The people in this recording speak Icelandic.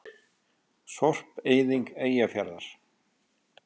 Sorpeyðing Eyjafjarðar.